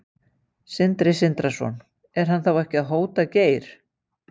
Sindri Sindrason: Er hann ekki að hóta Geir?